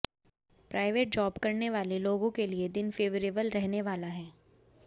private job करने वाले लोगों के लिए दिन फेबरेबल रहने वाला है